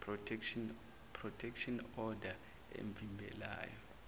protection order emvimbelayo